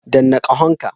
Danna ƙahon ka.